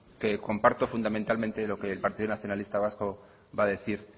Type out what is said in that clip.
que comparto fundamentalmente lo que el partido nacionalista vasco va a decir